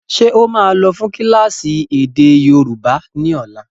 Ṣé ó máa lọ fún kílásì èdè yóòbá ni ọ̀la?